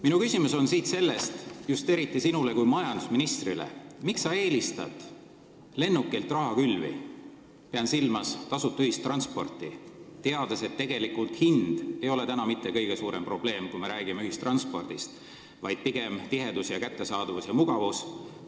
Minu küsimus on just eriti sinule kui majandusministrile: miks sa eelistad lennukilt rahakülvi – pean silmas tasuta ühistransporti –, teades, et tegelikult ei ole hind praegu mitte kõige suurem probleem, kui me räägime ühistranspordist, vaid pigem on oluline tihedus, kättesaadavus ja mugavus?